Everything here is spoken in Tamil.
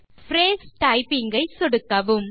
பிரேஸ் டைப்பிங் ஐ சொடுக்கவும்